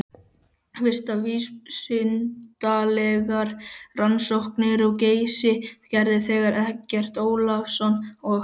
Fyrstu vísindalegar rannsóknir á Geysi gerðu þeir Eggert Ólafsson og